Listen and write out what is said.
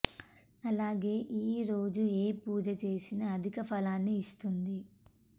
అలాగే ఈ రోజు ఏ పూజ చేసినా అధిక ఫలాన్ని ఇస్తుంది